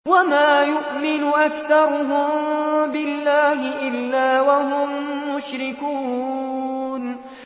وَمَا يُؤْمِنُ أَكْثَرُهُم بِاللَّهِ إِلَّا وَهُم مُّشْرِكُونَ